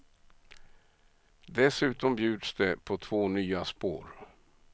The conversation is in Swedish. Dessutom bjuds det på två nya spår.